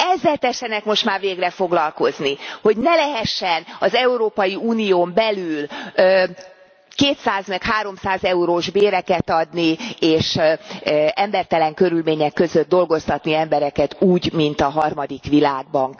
Ezzel tessenek most már végre foglalkozni, hogy ne lehessen az Európai Unión belül 200 meg 300 eurós béreket adni és embertelen körülmények között dolgoztatni embereket úgy, mint a harmadik világban.